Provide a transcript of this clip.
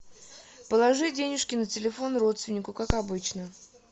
положи денежки на телефон родственнику как обычно